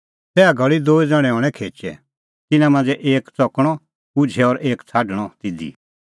तैहा घल़ी दूई ज़ण्हैं हणैं खेचै तिन्नां मांझ़ै एक च़कणअ उझै और एक छ़ाडणअ तिधी